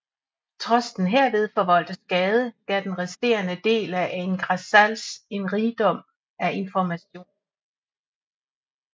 Trods den herved forvoldte skade gav den resterende del af Ain Ghazal en rigdom af information